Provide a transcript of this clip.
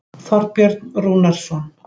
Þorbjörn Rúnarsson.